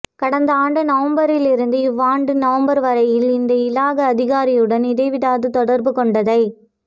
கடந்த ஆண்டு நவம்பரிலிருந்து இவ்வாண்டு நவம்பர் வரையில் அந்த இலாகா அதிகாரியுடன் இடைவிடாது தொடர்பு கொண்டதைத்